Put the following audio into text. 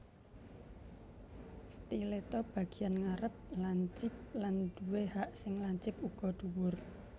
Stiletto Bagian ngarep lancip lan duwé hak sing lancip uga dhuwur